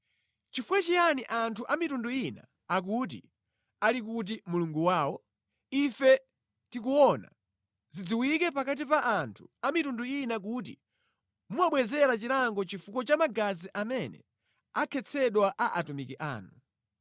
Chifukwa chiyani anthu a mitundu ina akuti, “Ali kuti Mulungu wawo?” Ife tikuona, zidziwike pakati pa anthu a mitundu ina kuti mumabwezera chilango chifukwa cha magazi amene anakhetsedwa a atumiki anu.